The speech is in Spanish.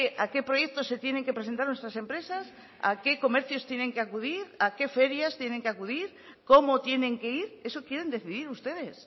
a qué proyectos se tienen que presentar nuestras empresas a qué comercios tienen que acudir a qué ferias tienen que acudir cómo tienen que ir eso quieren decidir ustedes